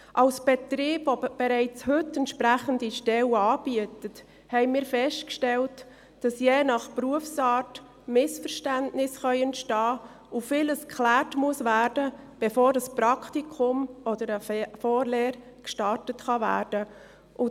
Als Betrieb, welcher heute schon entsprechende Stellen anbietet, haben wir festgestellt, dass je nach Berufsart Missverständnisse entstehen können und vieles geklärt werden muss, bevor ein Praktikum oder eine Vorlehre gestartet werden kann.